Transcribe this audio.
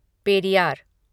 Periyar